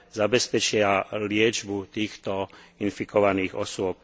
zabezpečia liečbu týchto infikovaných osôb.